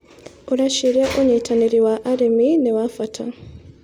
ũreciria ũnyitanĩrĩ wa arĩmi nĩ wa bata.